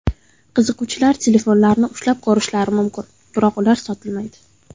Qiziquvchilar telefonlarni ushlab ko‘rishi mumkin, biroq ular sotilmaydi.